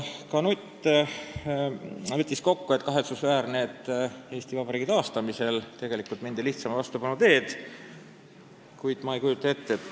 Mart Nutt võttis kokku, et kahetsusväärne on see, et Eesti Vabariigi taastamisel mindi lihtsama vastupanu teed, kui rajoonid muudeti maakondadeks ning küla- ja linnanõukogud iseseisva Eesti valdadeks ja linnadeks.